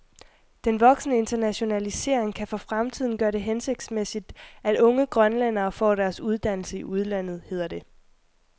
Den voksende internationalisering kan for fremtiden gøre det hensigtsmæssigt, at unge grønlændere får deres uddannelse i udlandet, hedder det.